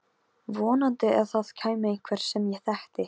Vonaði að það kæmi einhver sem ég þekkti.